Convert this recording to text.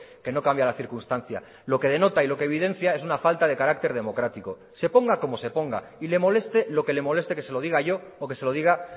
que no cambia la circunstancia lo que denota y lo que evidencia es una falta de carácter democrático se ponga como se ponga y le moleste lo que le moleste que se lo diga yo o que se lo diga